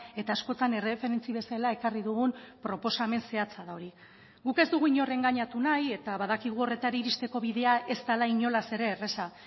eta askotan erreferentzi bezala ekarri dugun proposamen zehatza da hori guk ez dugu inor engainatu nahi eta badakigu horretara iristeko bidea ez dela inolaz ere erraza